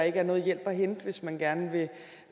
ikke er noget hjælp at hente hvis man gerne vil